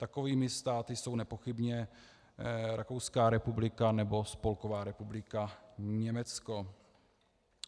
Takovými státy jsou nepochybně Rakouská republika nebo Spolková republika Německo.